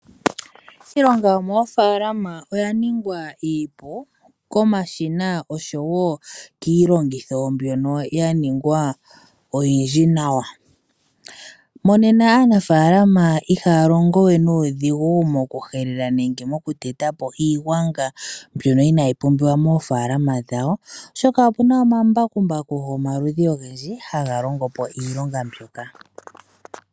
Iilonga yomoofaalama oya ningwa iipu komashina osho wo kiilongitho mbyono ya ningwa oyindji nawa. Monena aanafaalama ihaya longowe nuudhigu mokuhelela nenge moku tetampo iigwanga mbyono inaayi pumbiwa moofaalama dhawo oshoka opuna omambakumbaku gomaludhi ogendji ha ga longo po iilonga mbika.